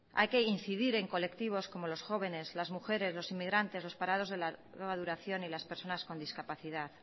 hay que incidir en colectivos como los jóvenes las mujeres los inmigrantes los parados de larga duración y las personas con discapacidad